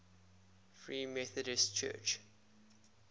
free methodist church